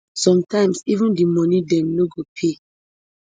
sometimes even di moni dem no go pay